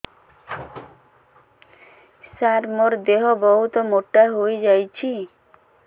ସାର ମୋର ଦେହ ବହୁତ ମୋଟା ହୋଇଯାଉଛି